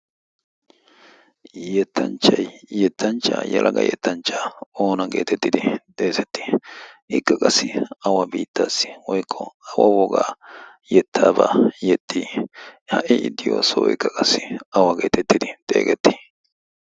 yettanchchai yettanchchaa yalaga yettanchchaa oona geetettidi xeesettii ikka qassi awa biittaassi woykko awa wogaa yettaabaa yexxii ha'i iddiyo soo ikka qassi awa geetettidi xeegetti?